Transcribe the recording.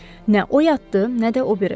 Nə o yatdı, nə də o biri.